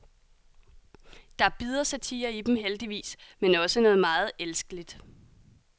Der er bid og satire i dem, heldigvis, men også noget meget elskeligt.